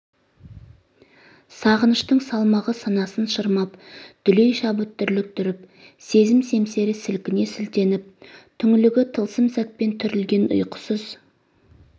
сағыныштың салмағы санасын шырмап дүлей шабыт дүрліктіріп сезім семсері сілкіне сілтеніп түңлігі тылсым сәтпен түрілген ұйқысыз